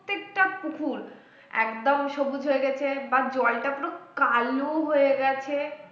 টা পুকুর একদম সবুজ হয়ে গেছে বা জলটা পুরো কালো হয়ে গেছে